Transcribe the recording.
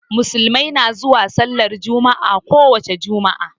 Musulmai na zuwa sallar jumma'a ko wani ranan jumaat.